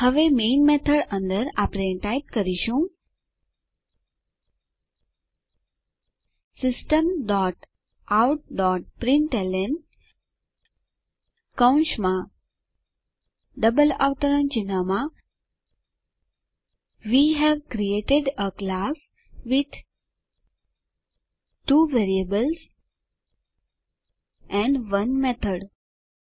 હવે main method અંદર આપણે ટાઈપ કરીશું system dot out dot println કૌંસમાં ડબલ અવતરણ ચિહ્નમાં we have created a class with two variables and 1 method